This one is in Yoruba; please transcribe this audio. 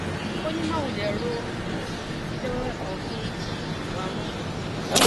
ó ní má wulẹ rọ um ẹjọ wẹwẹ kan fún um wa mọ